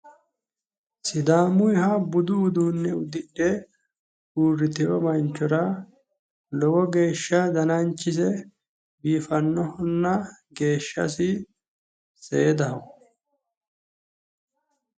sidaamuyiha budu uduunne ududhe uurrutino manchora lowo geeshsha dananchise biifannohonna seedaho.